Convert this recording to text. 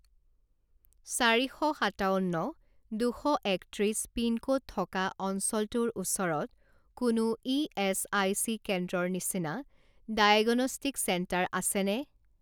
চাৰি শ সাতাৱন্ন দুশ একত্ৰিছ পিনক'ড থকা অঞ্চলটোৰ ওচৰত কোনো ইএচআইচি কেন্দ্ৰৰ নিচিনা ডায়েগনষ্টিক চেণ্টাৰ আছেনে?